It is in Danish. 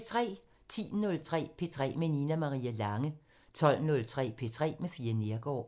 10:03: P3 med Nina Marie Lange 12:03: P3 med Fie Neergaard